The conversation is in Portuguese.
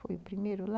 Foi o primeiro lá.